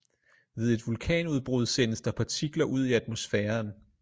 Ved et vulkanudbrud sendes der partikler ud i atmosfæren